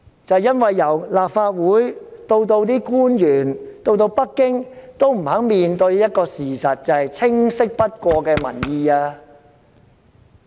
正因為由立法會到政府官員、北京也不肯面對一個事實，便是清晰不過的民意。